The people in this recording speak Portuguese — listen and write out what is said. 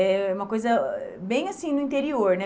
É uma coisa, bem assim, no interior, né?